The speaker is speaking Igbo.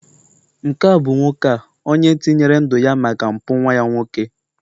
nke a bụ nwoke a, onye tinyere ndu ya maka mpụ nwa ya nwoke